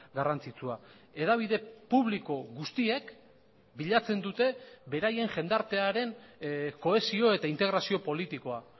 garrantzitsua hedabide publiko guztiek bilatzen dute beraien jendartearen kohesio eta integrazio politikoa